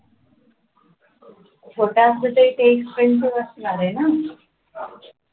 छोटा असेल तरी ते print च असणार आहे ना